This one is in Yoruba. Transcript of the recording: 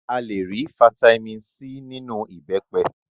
A le rí fataímìn C nínú ìbẹ́pẹ.